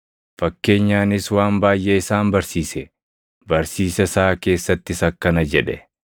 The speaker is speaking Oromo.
Fakkeenyaanis waan baayʼee isaan barsiise; barsiisa isaa keessattis akkana jedhe: